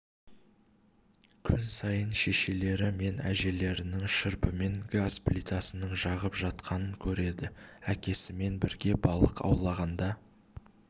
күн сайын шешелері мен әжелерінің шырпымен газ плитасының жағып жатқан көреді әкесімен бірге балық аулауғанда